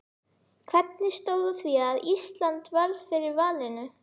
Hvernig stóð á því að Ísland varð fyrir valinu?